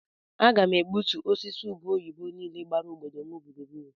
A ga m egbutu osisi ube oyibo niile gbara obodo m gburugburu.